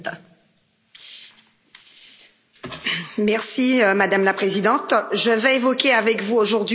Madame la Présidente, je vais évoquer avec vous aujourd'hui la situation dans les cinq départements d'outre mer français.